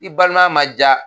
I balimaya ma diya